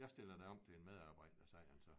Jeg stiller dig om til en medarbejder sagde han så